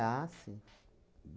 Ah, sim.